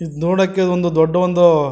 ಇದ್ ನೋಡಕೆ ಒಂದು ದೊಡ್ಡ ಒಂದು -